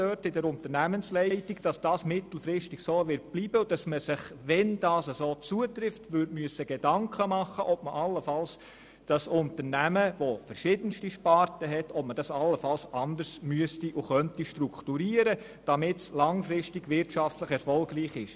Nun weiss die Unternehmensleitung, dass dies mittelfristig so bleiben wird und dass man sich Gedanken darüber machen sollte, das Unternehmen mit den verschiedensten Sparten allenfalls anders zu strukturieren, damit es langfristig wirtschaftlich erfolgreich ist.